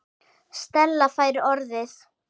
Stella fær orðið.